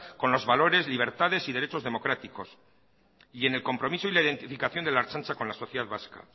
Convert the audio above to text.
con los valores libertades y derechos democráticos y en el compromiso y la identificación de la ertzaintza con la sociedad vasca